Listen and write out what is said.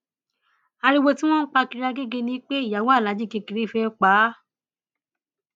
ariwo tí wọn ń pa kiri agege ni pé ìyàwó aláàjì kékeré fẹẹ pa á